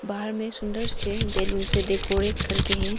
बाहर में सुंदर से बैलून से डेकोरेट करके हैं।